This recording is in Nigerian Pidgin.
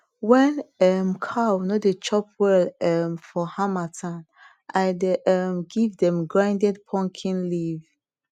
when um cow no dey chop well um for harmattan i dey um give dem grinded pumpkin leaf